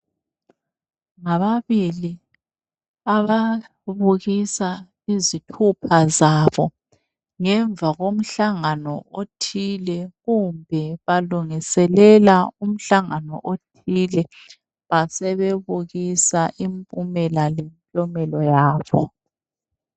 Ngababili ababukisa izithupha zabo ngemva komhlangano othile, kumbe balungiselela umhlangano othile, basebebukisa impumela lemklomelo yabo.